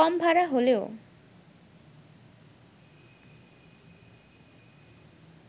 কম ভাড়া হলেও